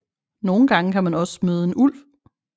Nogle gange kan man også møde en ulv